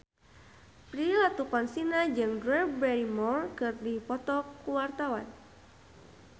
Prilly Latuconsina jeung Drew Barrymore keur dipoto ku wartawan